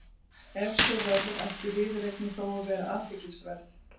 Ef svo verður ætti viðureignin þó að vera athyglisverð.